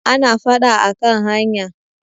ana fada a kan hanya